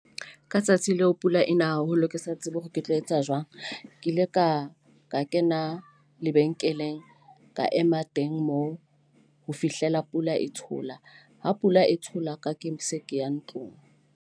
Ka tsatsi leo pula ena haholo, ke sa tsebe hore ke tlo etsa jwang. Ke ile ka ka kena lebenkeleng, ka ema teng moo ho fihlela pula e thola. Ha pula e thola ke ha ke se ke ya ntlong.